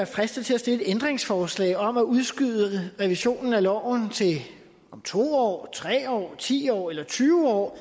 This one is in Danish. fristet til at stille et ændringsforslag om at udskyde revisionen af loven til om to år tre år ti år eller tyve år